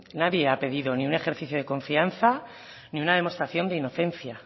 nadie ha pedido ni un ejercicio de confianza ni una demostración de inocencia